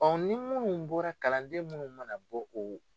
ni munnu bɔra kalanden munnu mana bɔ o